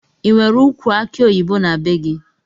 Inwere ukwu aki oyibo na bee gi?